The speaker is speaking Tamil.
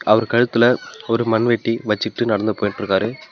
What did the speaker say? அவர் கழுத்துல ஒரு மண்வெட்டி வச்சிட்டு நடந்து போயிட்டிருக்காரு.